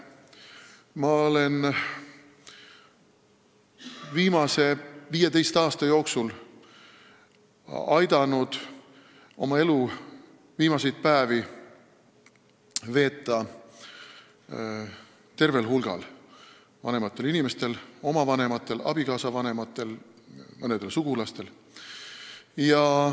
Ma olen viimase 15 aasta jooksul aidanud elu viimaseid päevi veeta tervel hulgal vanematel inimestel: oma vanematel, abikaasa vanematel, mõnel sugulasel.